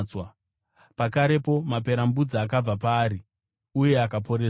Pakarepo maperembudzi akabva paari uye akaporeswa.